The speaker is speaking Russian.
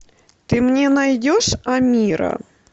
ты мне найдешь амира